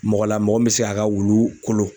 Mɔgɔ la mɔgɔ min bɛ se a ka wulu kolo.